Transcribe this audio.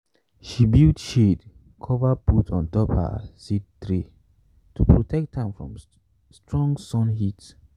she build shade cover put on top her seed tray to protect am from strong sun heat.